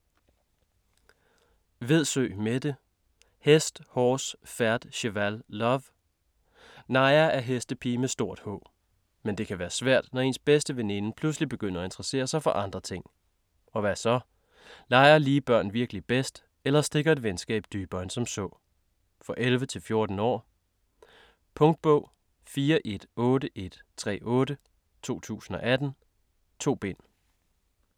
Vedsø, Mette: Hest horse pferd cheval love Naja er hestepige med stort H. Men det kan være svært, når ens bedste veninde pludselig begynder at interessere sig for andre ting. Og hvad så? Leger lige børn virkelig bedst eller stikker et venskab dybere end som så? For 11-14 år. Punktbog 418138 2018. 2 bind.